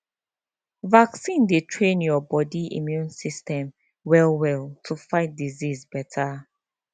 vaccine dey train your body immune system well well to fight disease better